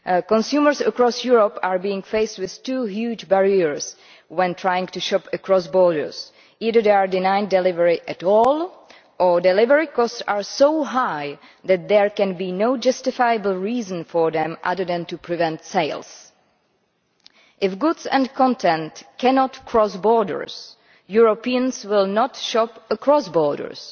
Consumers across Europe face two huge barriers when trying to shop across borders either they are denied delivery completely or delivery costs are so high that there can be no justifiable reason for them other than to prevent sales. If goods and content cannot cross borders, Europeans will not shop across borders.